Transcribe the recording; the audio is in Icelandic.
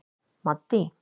Maddý